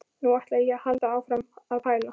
Nú ætla ég að halda áfram að pæla.